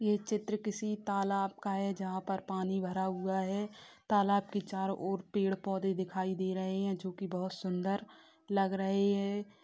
ये चित्र किसी तालाब का है जहाँ पर पानी भरा हुआ है तालाब के चारो ओर पेड़-पौधे दिखाई दे रहे हैं जो की बहुत सुन्दर लग रहे हैं।